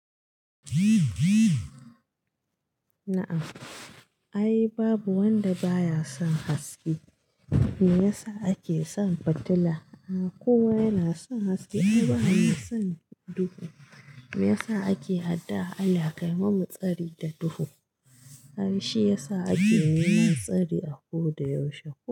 Na'am. Ai babu wanda ba ya son haske, me yasa ake son fitila? Kowa yana son haske ai ba mai son duhu. Me yasa ake addu'a Allah kayi mana tsari da duhu? Ai shi ya sa ake neman tsari a ko da yaushe.